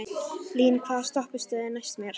Lín, hvaða stoppistöð er næst mér?